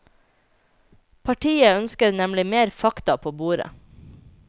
Partiet ønsker nemlig mer fakta på bordet.